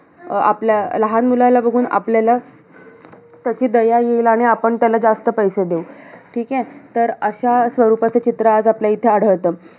आपल्या, लहान मुलाला बघून आपल्याला त्याची दया येईल, आणि आपण त्याला जास्त पैसे देऊ. ठीके? तर अशा स्वरूपाचं चित्र आज आपल्या इथे आढळतं.